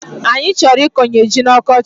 Anyi choro ikonye ji n'okochi